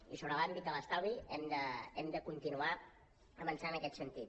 i sobre l’àmbit de l’estalvi hem de continuar avançant en aquest sentit